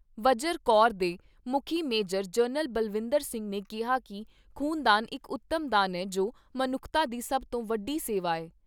ਵਜਰ corps ਦੇ ਮੁੱਖੀ major general Balwinder Singh ਨੇ ਕਿਹਾ ਕਿ ਖ਼ੂਨਦਾਨ ਇਕ ਉੱਤਮ ਦਾਨ ਏ ਜੋ ਮਨੁੱਖਤਾ ਦੀ ਸਭ ਤੋਂ ਵੱਡੀ ਸੇਵਾ ਏ।